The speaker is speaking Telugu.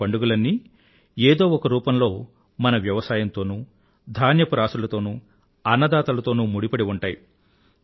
ఈ పండుగలన్నీ ఏదో ఒక రూపంలో మన వ్యవసాయం తోనూ ధాన్యపు రాసులతోనూ అన్నదాతలతోనూ ముడిపడి ఉంటాయి